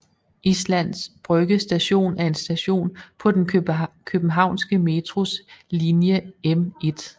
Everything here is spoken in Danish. Islands Brygge Station er en station på den københavnske Metros linje M1